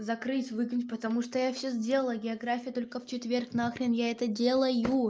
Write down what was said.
закрыть выкинуть потому что я всё сделала география только в четверг на хрен я это делаю